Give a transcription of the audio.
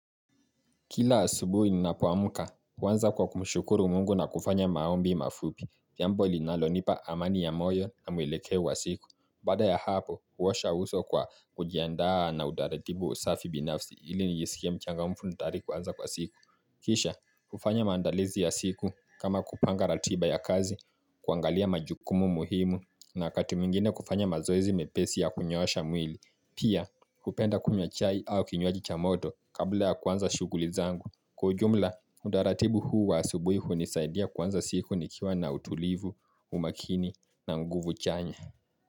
Kila asubuhi ninapoamka, huanza kwa kumshukuru mungu na kufanya maombi mafupi, jambo linalonipa amani ya moyo na mwelekeo wa siku. Baada ya hapo, huosha uso kwa kujiandaa na utaratibu wa usafi binafsi ili nijisikie mchangamfu na tayari kuanza kwa siku. Kisha, kufanya maandalizi ya siku kama kupanga ratiba ya kazi, kuangalia majukumu muhimu, na wakati mwingine kufanya mazoezi mepesi ya kunyoosha mwili, Pia, hupenda kunywa chai au kinywaji cha moto kabla ya kuanza shughuli zangu. Kwa ujumla, utaratibu huu wa asubuhi hunisaidia kuanza siku nikiwa na utulivu, umakini na nguvu chanya.